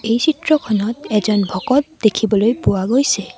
এই চিত্ৰখনত এজন ভকত দেখিবলৈ পোৱা গৈছে।